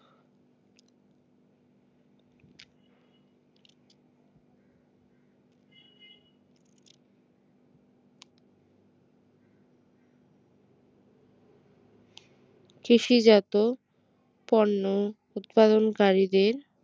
কৃষিজাত পণ্য উৎপাদনকারীদের